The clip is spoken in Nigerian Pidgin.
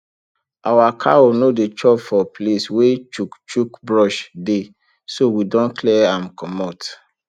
our cow no dey chop for place wey chukchuk brush dey so we don clear am comot